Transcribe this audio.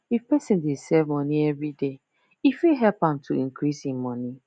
if person dey save money everyday e fit help am to increase hin money